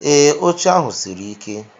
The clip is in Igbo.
Ee, oche ahu siri ike.